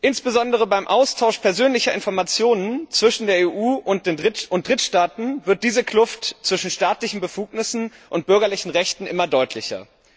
Insbesondere beim Austausch persönlicher Informationen zwischen der EU und Drittstaaten wird diese Kluft zwischen staatlichen Befugnissen und bürgerlichen Rechten immer deutlicher.